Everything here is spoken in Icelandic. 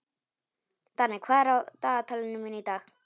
Danni, hvað er á dagatalinu mínu í dag?